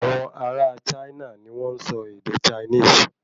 Awọn ará a China ní wọn n sọ ède Chinese